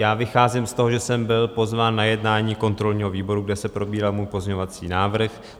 Já vycházím z toho, že jsem byl pozván na jednání kontrolního výboru, kde se probíral můj pozměňovací návrh.